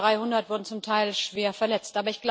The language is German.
Über 300 wurden zum Teil schwer verletzt.